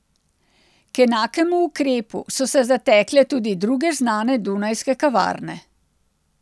K enakemu ukrepu so se zatekle tudi druge znane dunajske kavarne.